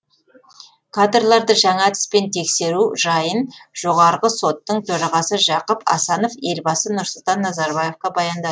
кадрларды жаңа әдіспен тексеру жайын жоғарғы соттың төрағасы жақып асанов елбасы нұрсұлтан назарбаевқа баяндады